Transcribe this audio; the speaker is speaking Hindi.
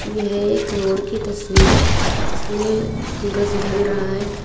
यह एक रोड़ की तस्वीर है इसमें सूरज ढल रहा है।